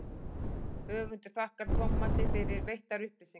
höfundur þakkar tómasi fyrir veittar upplýsingar